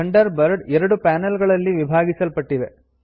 thunder bird ಎರಡು panel ಗಳಲ್ಲಿ ವಿಭಾಗಿಸಲ್ಪಟ್ಟಿದೆ